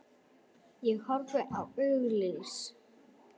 Ég horfi á auglýs